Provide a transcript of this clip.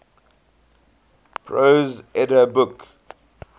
prose edda book